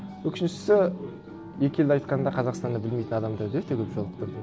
өкініштісі екі елді айтқанда қазақстанды білмейтін адамдарды өте көп жолықтырдым